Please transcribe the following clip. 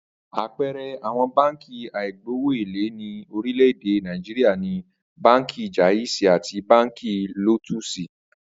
Àpe̩e̩re̩ àwo̩n báǹkì àìgbowó èlé ní orílè̩-èdè Nàìjíríà ni Báǹkì Jáìsì àti Báǹkì Lótúùsì